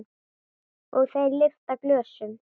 Og þeir lyfta glösum.